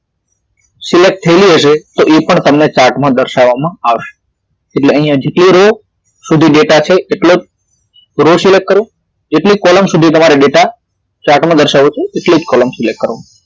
Select થયેલી હશે તો એ પણ તમને chart માં દર્શાવવામાં આવશે એટલે અહીથી તે row સુધી ડેટા છે એટલો જ row select કરો એટલી column સુધી તમારે ડેટા chart માં દર્શાવ્યો છે એટલી જ column select કરો